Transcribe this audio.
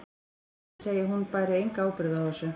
Hann vildi segja að hún bæri enga ábyrgð á þessu.